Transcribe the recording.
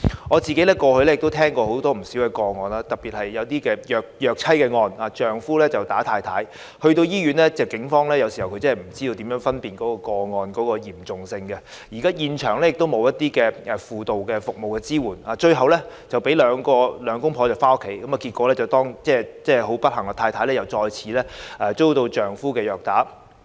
我過去曾聽到不少個案，特別是虐妻案，丈夫毆打妻子後一同來到醫院，但警方有時候真的不知如何分辨個案的嚴重性，現場亦沒有輔導服務支援，最後讓兩夫婦回家，結果當然是妻子不幸地再次被丈夫虐打。